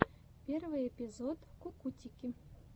первый эпизод кукутики